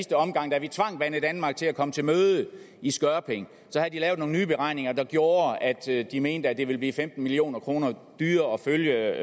omgang da vi tvang banedanmark til at komme til møde i skørping havde de lavet nogle nye beregninger der gjorde at de mente at det ville blive femten million kroner dyrere at følge